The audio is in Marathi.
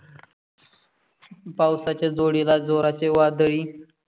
पावसाच्या जोडीला जोरचे वादळी.